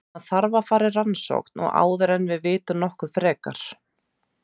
Hann þarf að fara í rannsókn áður en við vitum nokkuð frekar.